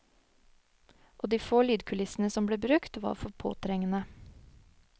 Og de få lydkulissene som ble brukt, var for påtrengende.